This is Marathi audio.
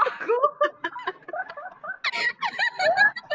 त्याचात